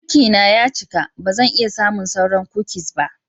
Cikina ya cika, ba zan iya samun sauran kukis ba.